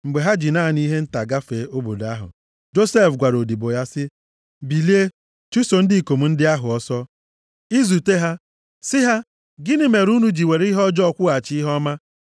Mgbe ha ji naanị ihe nta gafee obodo ahụ, Josef gwara odibo ya sị, “Bilie, chụso ndị ikom ndị ahụ ọsọ. I zute ha, sị ha, ‘Gịnị mere unu ji were ihe ọjọọ kwụghachi ihe ọma?